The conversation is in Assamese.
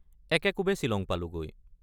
একেকোবে ছিলং পালোগৈ।